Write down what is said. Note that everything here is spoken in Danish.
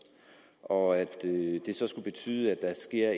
og at det så skulle betyde at der sker